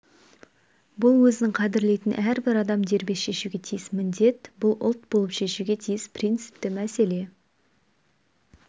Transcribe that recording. бұл өзін қадірлейтін әрбір адам дербес шешуге тиіс міндет бұл ұлт болып шешуге тиіс принципті мәселе